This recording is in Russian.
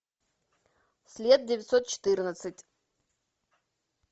след девятьсот четырнадцать